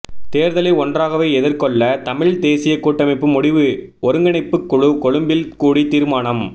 தேர்தலை ஒன்றாகவே எதிர்கொள்ளதமிழ்த் தேசியக் கூட்டமைப்பு முடிவு ஒருங்கிணைப்புக் குழு கொழும்பில் கூடி தீர்மானம்